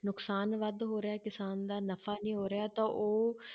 ਨੁਕਸਾਨ ਵੱਧ ਹੋ ਰਿਹਾ ਕਿਸਾਨ ਦਾ ਨਫ਼ਾ ਨੀ ਹੋ ਰਿਹਾ ਤਾਂ ਉਹ